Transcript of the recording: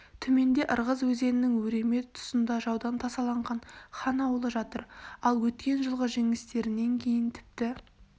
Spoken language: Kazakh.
төменде ырғыз өзенінің өреме тұсында жаудан тасаланған хан аулы жатыр ал өткен жылғы жеңістерінен кейін тіпті